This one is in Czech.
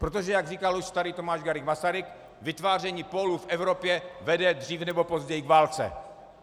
Protože jak říkal už starý Tomáš Garrigue Masaryk, vytváření pólů v Evropě vede dříve nebo později k válce.